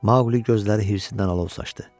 Maqli gözləri hirsindən alov saçdı.